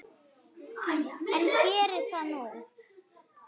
En geri það nú.